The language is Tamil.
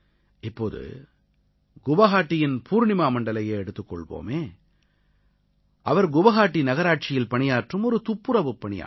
இப்போது குவாஹாட்டியின் பூர்ணிமா மண்டலையே எடுத்துக் கொள்வோமே அவர் குவாஹாட்டி நகராட்சியில் பணியாற்றும் ஒரு துப்புரவுப் பணியாளர்